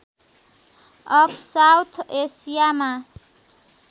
of south एसियामामा